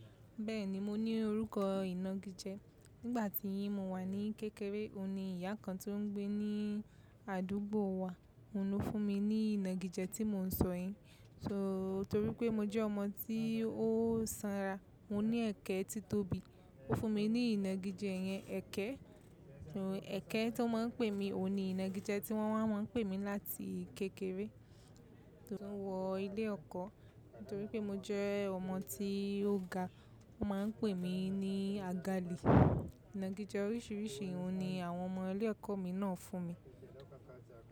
Bẹ́ẹ̀ni, mo ní orúkọ ìnagijẹ. Nígbà tí mo wà ní kékeré, òun ni ìyá kan tó ń gbé ní àdúgbò wa, òun ló fún mi ní ìnagijẹ tí mò ń sọ yìí. Torí pé mo jẹ́ ọmọ tí ó sanra, mo ní ẹ̀kẹ́ tí tóbi, ó fún mi ní ìnagijẹ yẹn, ẹ̀kẹ́. Ẹ̀kẹ́ tó máa ń pè mí, òun ni ìnagijẹ tí wọ́n máa ń pè mí láti kékeré. Torí pé mo wọ ilé ẹ̀kọ́, torí pé mo jẹ́ ọmọ tí ó ga, wọ́n máa ń pè mí ní agali. Ìnagijẹ oríṣiríṣi òun ni àwọn ọmọ ilé ẹ̀kọ́ mi náà fún mi.